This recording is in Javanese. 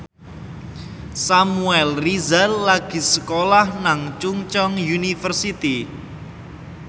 Samuel Rizal lagi sekolah nang Chungceong University